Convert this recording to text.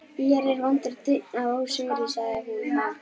Hér er vondur daunn af ósigri, sagði hún þá.